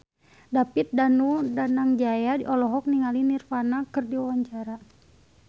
David Danu Danangjaya olohok ningali Nirvana keur diwawancara